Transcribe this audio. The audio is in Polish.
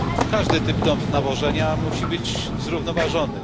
Każdy typ nawożenia musi być zrównoważony.